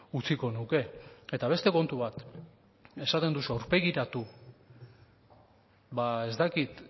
utziko nuke eta beste kontu bat esaten duzu aurpegiratu ba ez dakit